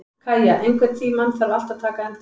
Kæja, einhvern tímann þarf allt að taka enda.